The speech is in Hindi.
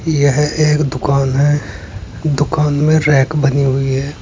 यह एक दुकान है दुकान में रैक बनी हुई है।